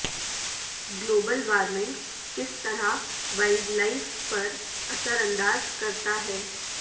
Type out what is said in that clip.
global warming کس طرح wildlife پر اثر انداز کرتا ہے